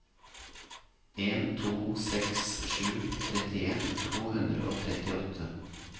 en to seks sju trettien to hundre og trettiåtte